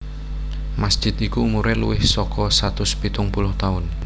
Masjid iku umure luwih saka satus pitung puluh taun